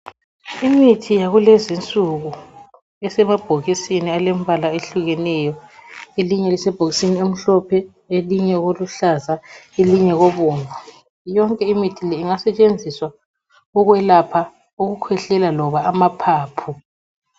Imithi yakulezi insuku isemabhokisini alemibala ehlukeneyo. Elinye lisebhokisini elimhlophe, elinye koluhlaza elinye kobomvu. Yonke imithi le ingasetshenziswa ukwelapha ukukhwehlela loba amaphaphu.